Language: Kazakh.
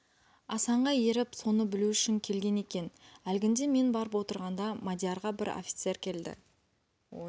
асанға еріп соны білу үшін келген екен әлгінде мен барып отырғанда мадиярға бір офицер келді